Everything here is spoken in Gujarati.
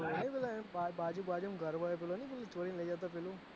પેલો એન બાજુ વાળો નહી બાજુમ ઘર વાળો ચોરી લઇ જાતો પેલું